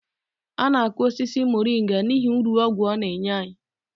A na-akọ osisi moringa n'ihi uru ọgwụ ọ na-enye anyi